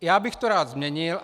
Já bych to rád změnil.